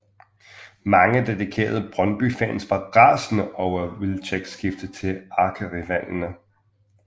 Mange dedikerede Brøndbyfans var rasende over Wilczeks skifte til ærkerivalerne